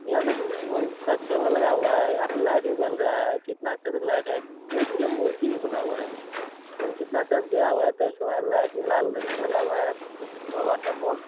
यहाँ पे मन लगा हुआ है यहाँ पे लाइट भी बल रहा है कितना अच्छा लाइट है कोई चीज का मूर्ति भी बना हुआ है कितना अच्छा से घेरा हुआ है तो इसमें लाइट लाल रंग का लगा हुआ है सौ वाट का बल्ब--